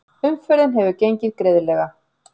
Umferðin hefur gengið greiðlega